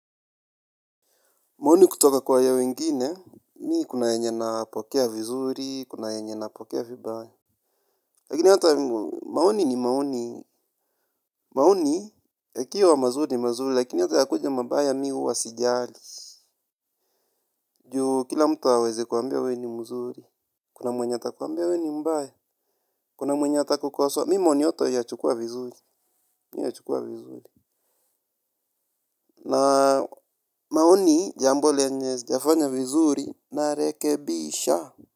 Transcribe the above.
Maoni kutoka kwa ya wengine, mimi kuna yenye nayapokea vizuri, kuna yenye napokea vibaya. Lakini hata, maoni ni maoni, maoni, yakiwa mazuri ni mazuri, lakini hata yakuje mabaya mimi huwa sijali. Juu, kila mtu hawezi kukuambia wewe ni mzuri, kuna mwenye atakuambia wewe ni mbaya, kuna mwenye atakukosoa. Mimi maoni yote huyachukua vizuri. Na maoni, jambo lenye, sijafanya vizuri, narekebisha.